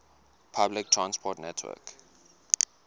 public transport network